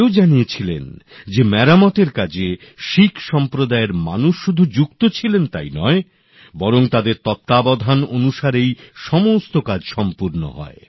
জুরি এও জানিয়েছিল মেরামতের কাজে শিখ সসম্প্রদায়ের মানুষ শুধু যুক্ত ছিলেন তাই নয় বরং তাদের তত্ত্বাবধানেই সমস্ত কাজ সম্পূর্ণ হয়